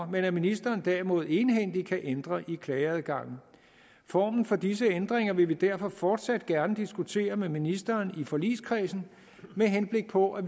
men at ministeren derimod egenhændigt kan ændre i klageadgangen formen for disse ændringer vil vi derfor fortsat gerne diskutere med ministeren i forligskredsen med henblik på at